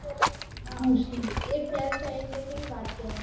હા એ fail થાય એટલે કેવી વાત કેવાય